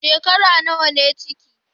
Shekara nawa ne ciki?